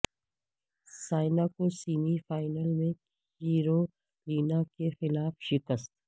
سائنا کو semi final میں Carolina کے خلاف شکست